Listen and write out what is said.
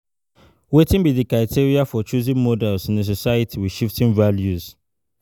Wetin be di criteria for choosing role models in a society with shifting values?